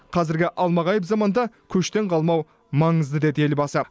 қазіргі алмағайып заманда көштен қалмау маңызды деді елбасы